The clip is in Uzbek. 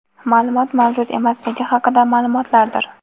ma’lumot mavjud emasligi haqida ma’lumotlardir.